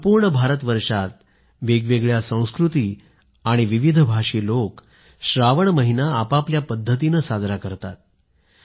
संपूर्ण भारतवर्षात अलग अलग संस्कृती आणि भाषक लोक श्रावण महिना आपापल्या पद्धतीनं साजरा करतात